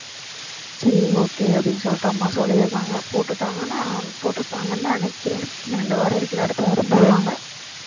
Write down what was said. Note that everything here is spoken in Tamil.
சரி okay அப்படின்னு சொல்லிட்டு அம்மா சொல்லி இருக்காங்க போட்டுட்டாங்கன்னா போட்டு இருப்பாங்கன்னு நினைக்கிறேன் இன்னும் ரெண்டு வாரம் இருக்குல அடுத்த வாரம் போடுவாங்க